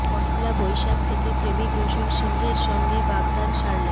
পহেলা বৈশাখ থেকে প্রেমিক রোশন সিংহের সঙ্গে বাগদান সারলেন